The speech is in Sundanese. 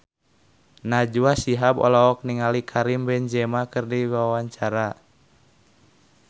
Najwa Shihab olohok ningali Karim Benzema keur diwawancara